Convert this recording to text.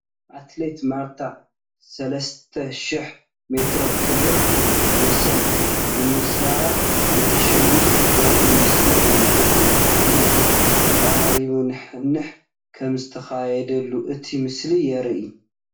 ኣትሌት ማርታ ሰለስተ ሽሕ ሜትሮ ክብረ ወሰን ብምስባር እንትተሽንፍ ዘርኢ ምስሊ እዩ፡፡ እቲ ውድድር ተቐራራቢ ንሕንሕ ከምዝተኻየደሉ እቲ ምስሊ የርኢ፡፡